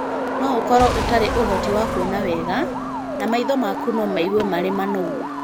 No ũkorũo ũtarĩ ũhoti wa kuona wega, na maitho maku no maigue marĩ manogu.